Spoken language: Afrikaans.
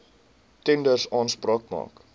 tenders aanspraak maak